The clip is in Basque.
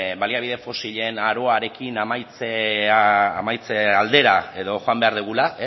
baliabide fosilen aroarekin amaitze aldera edo joan behar dugula